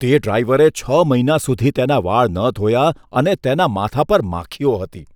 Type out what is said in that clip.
તે ડ્રાઈવરે છ મહિના સુધી તેના વાળ ન ધોયા અને તેના માથા પર માખીઓ હતી.